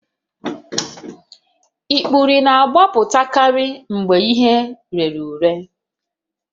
Ikpuru na-apụtakarị mgbe ihe rere ure